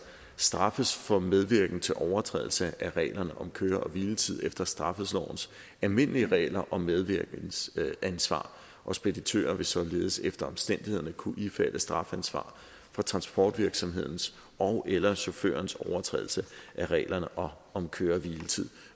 straffes for medvirken til overtrædelse af reglerne om køre og hviletid efter straffelovens almindelige regler om medvirkensansvar og speditører vil således efter omstændighederne kunne ifalde strafansvar for transportvirksomhedens ogeller chaufførens overtrædelse af reglerne om om køre og hviletid